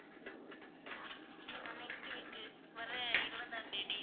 இல்ல ma'am next week க்கு வர்ற இருபதாம் தேதி